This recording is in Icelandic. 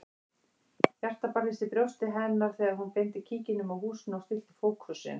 Hjartað barðist í brjósti hennar þegar hún beindi kíkinum að húsinu og stillti fókusinn.